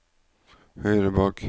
høyre bak